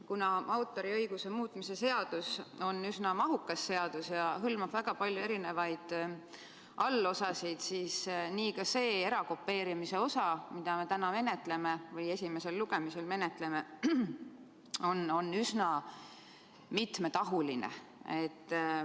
Kuna autoriõiguse muutmise seadus on üsna mahukas seadus, mis hõlmab väga palju erinevaid allosasid, siis on ka see erakopeerimise osa, mida me täna esimesel lugemisel menetleme, üsna mitmetahuline.